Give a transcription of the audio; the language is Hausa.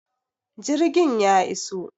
jirgin ya iso?